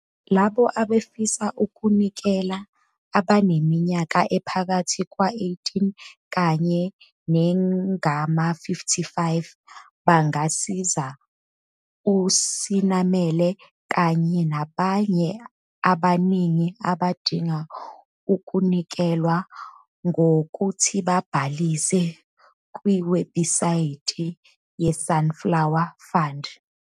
Labo abafisa ukunikela abaneminyaka ephakathi kweyi-18 kanye nengama-55 bangasiza uSenamela kanye nabanye abaningi abadinga ukunikelelwa ngokuthi babhalise kwiwebhusayithi yeSunflower Fund.